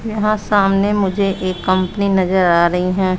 यहां सामने मुझे एक कंपनी नजर आ रही है।